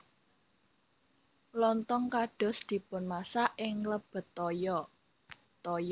Lontong kados dipunmasak ing nglebet toya